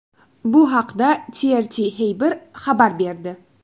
Bu haqda TRT Haber xabar berdi .